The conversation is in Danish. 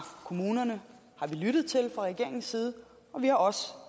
kommunerne har vi lyttet til fra regeringens side og vi har også